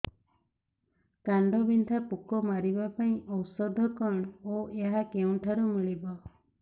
କାଣ୍ଡବିନ୍ଧା ପୋକ ମାରିବା ପାଇଁ ଔଷଧ କଣ ଓ ଏହା କେଉଁଠାରୁ ମିଳିବ